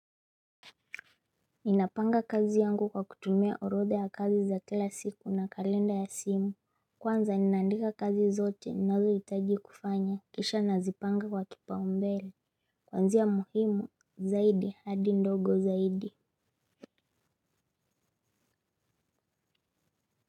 Ninapanga kazi yangu kwa kutumia orodha ya kazi za kila siku na kalenda ya simu. Kwanza ninaandika kazi zote ninazoitaji kufanya kisha nazipanga kwa kupaumbele. Kwanzia muhimu zaidi hadi ndogo zaidi.